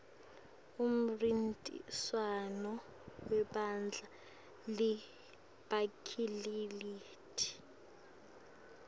umnrintiswano webadla li bekhilikithi